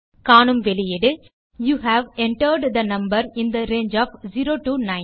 காணும் வெளியீடு you have entered the number in the range of 0 to 9